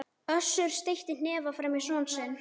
Össur steytti hnefa framan í son sinn.